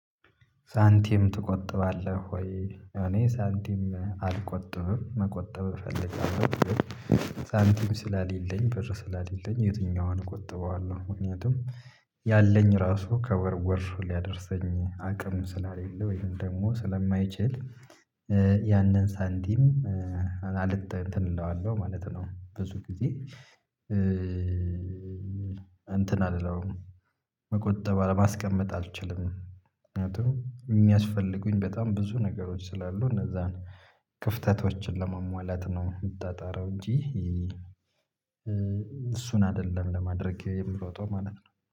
ሳንቲም ትቆጥባለህ ወይ? እኔ ሳንቲም አልቆጥብም መቆጠብ እፈልጋለሁ ግን ሳንቲም ስላሌለኝ በር ስላሌለኝ የትኛዋን ቆጥበዋለሁ ምክንያቱም ያለኝ ራሱ ከወር ወር ሊያደርሰኝ አቅም ስላልሌለ ወይም ደግሞ ስለማይችል ያንን ሳንቲም አለ እንትን እለዋለሁ ማለት ነው። ብዙ ጊዜ እንትን አልለውም። መቆጠብ ለማስቀመጥ አልችልም ምክንያቱም የሚያስፈልጉኝ በጣም ብዙ ነገሮች ስላሉ እነዛን ክፍተቶችን ለማሟላት ነው የምጣጣረው። እንጂ እሱን አይደለም ለማድረግ የምሮጠው ማለት ነው